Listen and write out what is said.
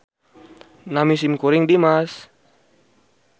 Nami simkuring Dimas